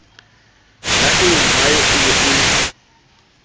ya eommae e be e